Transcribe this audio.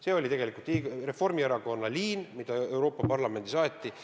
See oli tegelikult Reformierakonna liin, mida Euroopa Parlamendis aeti.